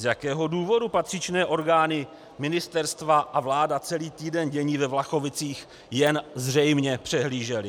Z jakého důvodu patřičné orgány ministerstva a vláda celý týden dění ve Vlachovicích zřejmě jen přehlížely?